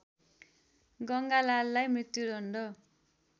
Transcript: गङ्गालाललाई मृत्युदण्ड